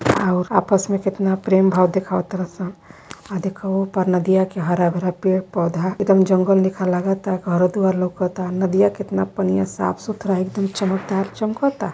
आउर आपस में कितना प्रेम भाव दिखाव् तरअ सन अ देखअ ओ-पार नदिया के हरा पेड़- पौधा एक दम जंगल लेखा लागता घरो दुआर लउकता नदिया कितना पानी साफ सुथरा एक दम चमकदार चमकता ता।